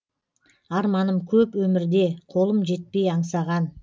арманым көп өмірде қолым жетпей аңсаған